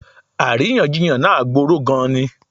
Àríyànjiyàn náà gboró gan-an ni.